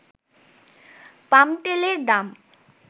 পাম তেলের দাম